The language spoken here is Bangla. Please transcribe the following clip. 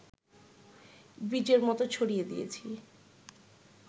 বীজের মত ছড়িয়ে দিয়েছি